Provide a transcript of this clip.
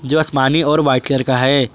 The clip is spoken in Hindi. जो आसमानी और वाइट कलर का है।